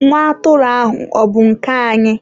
Nwa atụrụ ahụ ọ bụ nke anyị?